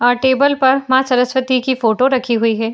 अह table पर माँ सरसवती की फ़ोटो रखी हुई है।